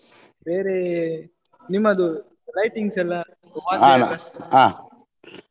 ಬೇರೆ ನಿಮ್ಮದು lightings ಎಲ್ಲಾ .